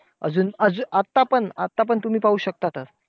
अजून अजून आता पण आता पण तुम्ही पाहू शकतातचं.